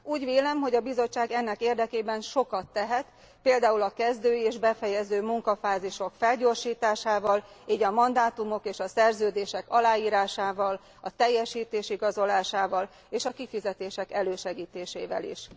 Úgy vélem, hogy a Bizottság ennek érdekében sokat tehet, pl. a kezdő és befejező munkafázisok felgyorsításával, így a mandátumok és a szerződések aláírásával, a teljesítés igazolásával és a kifizetések elősegítésével is.